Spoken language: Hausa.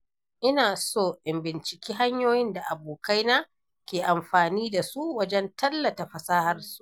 Ina so in binciki hanyoyin da abokaina ke amfani da su wajen tallata fasahar su.